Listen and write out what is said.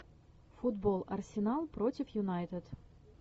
футбол арсенал против юнайтед